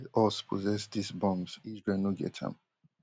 us possess dis bombs, israel no get am